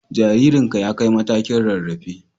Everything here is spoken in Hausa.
Jaririnka ya kai matakin rarrafe